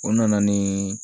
O nana ni